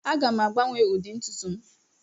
Aga m agbanwe ụdị ntutu m.